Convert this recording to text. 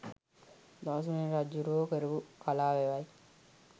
ධාතුසේන රජ්ජුරුවෝ කරපු කලා වැවයි